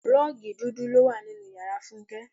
Rọ́ọ́gì dúdú ló wà nínú ìyára Fúnké.